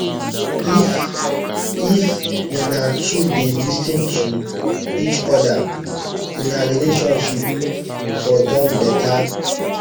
if if una two dey lis ten to eachoda una relationship for don beta